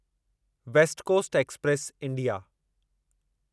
waste coast express India